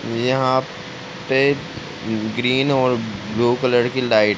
यहाँ पे ग्रीन और ब्लू कलर की लाइट --